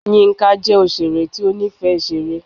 yinka jẹ oṣere ti o nifẹ iṣere